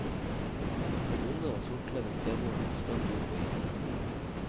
Den onde og sortkledde stemoren spratt ut på isen.